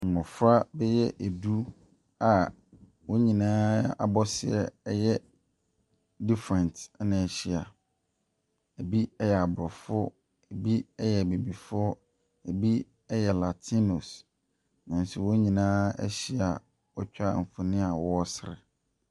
Mmɔfra bɛyɛ du a wɔn nyinaa abɔseɛ yɛ different na wɔahyia. Ɛbi yɛ Aborɔfo, Ɛbi yɛ Abibifoɔ, ɛbi yɛ latinos, nanso wɔn nyinaa ahyia a wɔatwa mfonin a wɔresere.